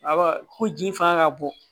Awa ko ji fanga ka bon